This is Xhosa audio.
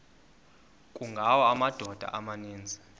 kungawa amadoda amaninzi